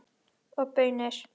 Og baunir.